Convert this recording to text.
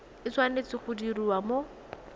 e tshwanetse go diriwa mo